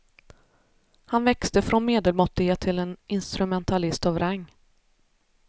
Han växte från medelmåttighet till en instrumentalist av rang.